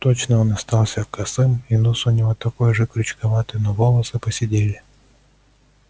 точно он остался косым и нос у него такой же крючковатый но волосы поседели